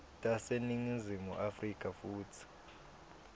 taseningizimu afrika futsi